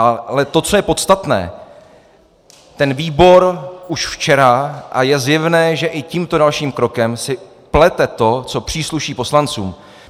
Ale to, co je podstatné, ten výbor už včera, a je zjevné, že i tímto dalším krokem si plete to, co přísluší poslancům.